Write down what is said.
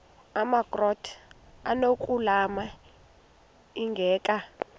amakrot anokulamla ingeka